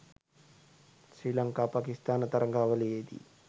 Sri Lanka Pakistan තරගාවලියේදී.